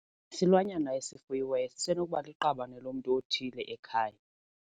Isilwanyana esifuyiweyo sisenokuba liqabane lomntu othile ekhaya.